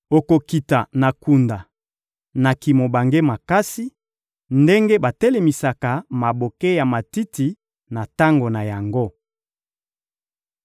Okokita na kunda na kimobange makasi, ndenge batelemisaka maboke ya matiti na tango na yango.